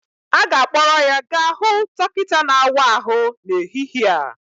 A ga-akpọrọ ya gaa hụ dọkịta na-awa ahụ n'ehihie a